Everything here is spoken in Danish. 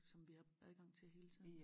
Som vi har adgang til hele tiden